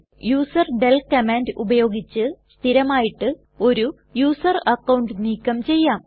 userdel command ഉപയോഗിച്ച് സ്ഥിരമായിട്ട് ഒരു യൂസർ അക്കൌണ്ട് നീക്കം ചെയ്യാം